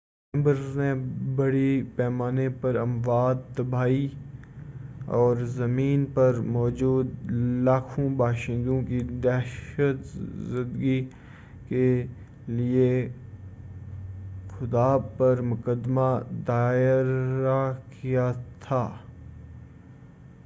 chambers نے بڑی پیمانے پر اموات تباہی اور زمین پر موجود لاکھوں باشندوں کی دہشت زدگی کیلئے خدا پر مقدمہ دائرہ کیا تھا